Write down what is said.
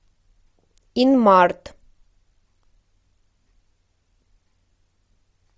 инмарт